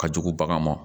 Ka jugu bagan ma